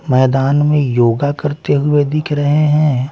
मैदान में योगा करते हुए दिख रहे हैं।